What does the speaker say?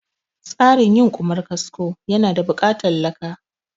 Tsarin yin Ƙumar kasko ya na buƙatan laka